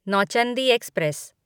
Nauchandi express